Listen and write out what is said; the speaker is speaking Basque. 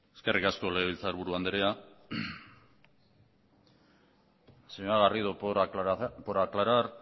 eskerrik asko legebiltzarburu andrea señora garrido por aclarar